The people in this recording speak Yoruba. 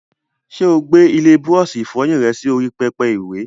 Ṣé o gbé ilé búrọ́ọ̀ṣì ìfọyín rẹ sí orí pẹpẹ ìwẹ̀?